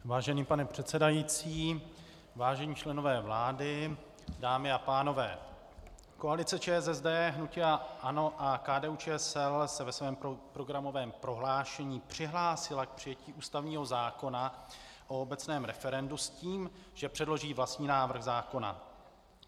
Vážený pane předsedající, vážení členové vlády, dámy a pánové, koalice ČSSD, hnutí ANO a KDU-ČSL se ve svém programovém prohlášení přihlásila k přijetí ústavního zákona o obecném referendu s tím, že předloží vlastní návrh zákona.